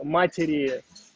матери